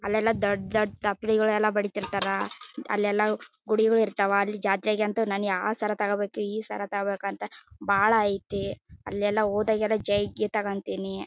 ಅಲ್ಲೆಲ್ಲಾ ದೊಡ್ಡ ದೊಡ್ಡ ತ್ಪರಿಗಳೆಲ್ಲಾ ಬಡಿತ್ತಿರತ್ತರ್ ಅಲ್ಲೆಲ್ಲಾ ಗುಡಿಗಳು ಇರತ್ತವ ಅಲ್ಲಿ ಜಾತ್ರೆ ಅಂತೂ ಯಾವ್ ಸರ ತೋಕೋಬೇಕು ಈ ಸರ ತೋಕೋಬೇಕು ಅಂತ ಬಹಳ್ ಐತಿ ಅಲ್ಲೆಲ್ಲಾ ಹೋದಾಗೆಲ್ಲಾ ಜೈಯ್ ಗೀಯ್ ತೊಕೊತ್ತೀನಿ.